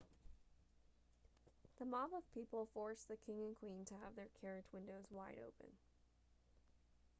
the mob of people forced the king and queen to have their carriage windows wide open